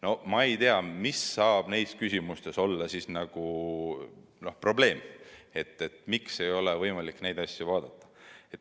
No ma ei tea, mis saab neis küsimustes olla probleemiks, et neid asju ei ole võimalik vaadata.